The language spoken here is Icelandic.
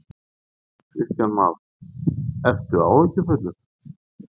Kristján Már: Ertu áhyggjufullur?